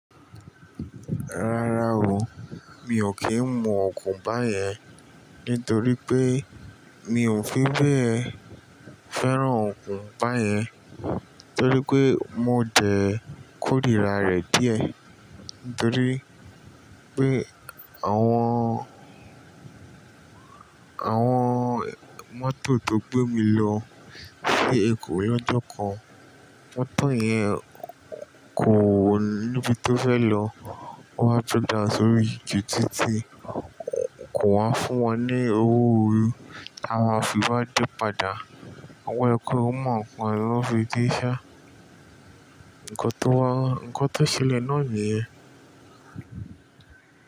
Rárá o, mi ò kí ń mu ọ̀gùn báyẹn nítorí pé mi ò fi bẹ́ẹ̀ fẹ́ràn ọ̀gùn báyẹn torí pé mo dẹ̀ kó ríra rẹ̀ díẹ̀ torí pé àwọn, àwọn mọ́tò tó gbé mi lọ sí Èkó lọ́jọ́ kan, mọ́tò yẹn kò níbi tó fẹ́ lọ, ó wá break down sórí ju títí, ko wá fún wọn ní owó oo, ta máa fi wá dé padà, àwọn ẹkùn mọ̀ ọ́n kan ló fi dé ṣá, ǹkọ́ tó wá, ǹkọ́ tó ṣẹlẹ̀ náà nìyẹn.